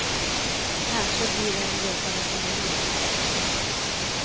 Kanske blir det en resa med familjen.